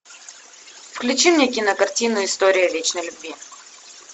включи мне кинокартину история вечной любви